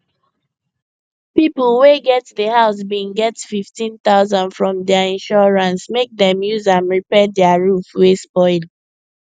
people wey get the house bin get 15000 from their insurance make dem use am repair their roof wey spoil